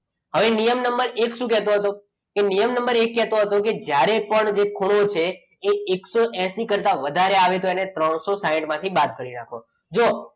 હવે નિયમ નંબર એક શું કહેતો હતો કે નિયમ નંબર એક કહેતો હતો કે જ્યારે પણ જે ખૂણો છે એ એકસો એસી કરતા વધારે આવે તો તેની ત્રણસો સાઈઠ માંથી બાદ કરી નાખવાનું જુઓ,